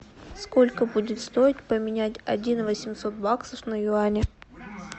сколько будет стоить поменять один восемьсот баксов на юани